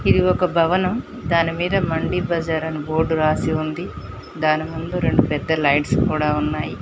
ఇది ఒక భవనం దానిమీద మండి బజార్ అని బోర్డు రాసి ఉంది దాని ముందు రెండు పెద్ద లైట్స్ కూడా ఉన్నాయి.